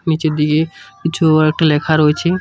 নীচের দিকে কিছু আরেকটা লেখা রয়েছে।